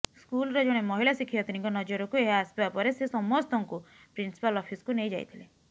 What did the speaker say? ସ୍କୁଲ୍ର ଜଣେ ମହିଳା ଶିକ୍ଷୟିତ୍ରୀଙ୍କ ନଜରକୁ ଏହା ଆସିବା ପରେ ସେ ସମସ୍ତଙ୍କୁ ପ୍ରିନ୍ସିପାଲ୍ ଅଫିସ୍କୁ ନେଇ ଯାଇଥିଲେ